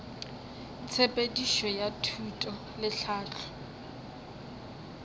tshepedišo ya thuto le tlhahlo